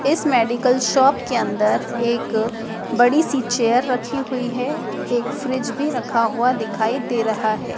इस medical shop के अंदर एक बड़ी सी चेयर रखी हुई है एक फ्रिज भी रखा हुआ दिखाई दे रहा है।